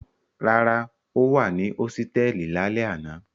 Rárá, ó wà ní hósítẹ́ẹ́lì lálẹ́ àná.